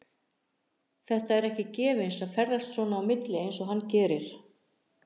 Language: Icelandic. Þetta er ekki gefins að ferðast svona á milli og eins og hann gerir.